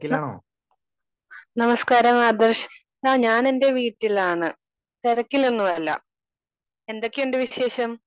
Speaker 2 നമസ്ക്കാരം ആദർശ്. ആഹ് ഞാൻ എന്റെ വീട്ടിലാണ്. തിരക്കിലൊന്നുമല്ല. എന്തൊക്കെയുണ്ട് വിശേഷം?